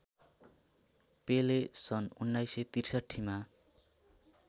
पेले सन् १९६३ मा